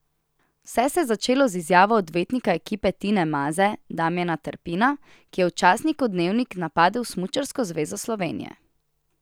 Vse se je začelo z izjavo odvetnika ekipe Tine Maze Damijana Terpina, ki je v časniku Dnevnik napadel Smučarsko zvezo Slovenije.